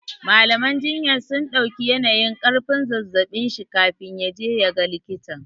Mallam jinyar sun ɗauki yanayin ƙarfin zazzaɓin shi kafin ya je ya ga likitan.